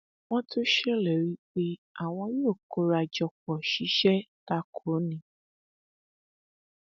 wọn tún ṣèlérí pé àwọn yóò kóra jọpọ ṣiṣẹ ta kò ó ní